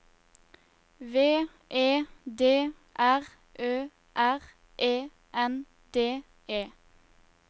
V E D R Ø R E N D E